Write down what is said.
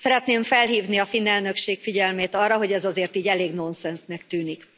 Szeretném felhívni a finn elnökség figyelmét arra, hogy ez azért így elég nonszensznek tűnik.